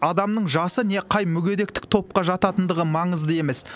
адамның жасы не қай мүгедектік топқа жататындығы маңызды емес